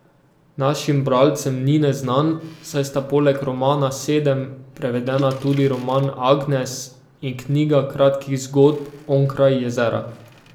Našim bralcem ni neznan, saj sta poleg romana Sedem prevedena tudi roman Agnes in knjiga kratkih zgodb Onkraj jezera.